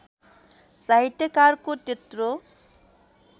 साहित्यकारको त्यत्रो